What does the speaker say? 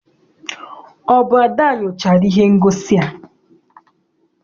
Ọ bụ Ada nyochara ihe ngosi a.